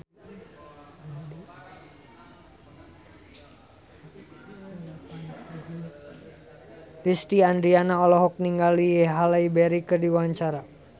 Lesti Andryani olohok ningali Halle Berry keur diwawancara